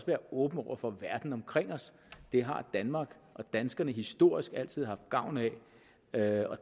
være åbne over for verden omkring os det har danmark og danskerne historisk altid haft gavn af af